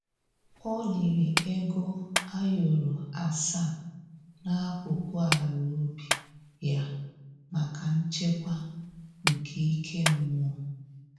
O liri ego ayoro asaa n'akụkụ ala ubi ya maka nchekwa nke ike mmụọ